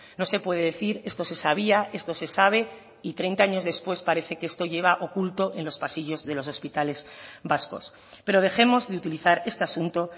no se puede decir esto se sabía esto se sabe y treinta años después parece que esto lleva oculto en los pasillos de los hospitales vascos pero dejemos de utilizar este asunto